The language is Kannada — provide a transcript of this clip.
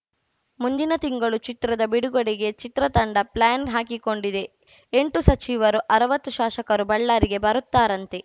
ಮುಂದಿನ ತಿಂಗಳು ಚಿತ್ರದ ಬಿಡುಗಡೆಗೆ ಚಿತ್ರ ತಂಡ ಪ್ಲ್ಯಾನ್‌ ಹಾಕಿಕೊಂಡಿದೆಎಂಟು ಸಚಿವರು ಅರವತ್ತು ಶಾಶಕರು ಬಳ್ಳಾರಿಗೆ ಬರುತ್ತಾರಂತೆ